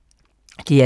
DR2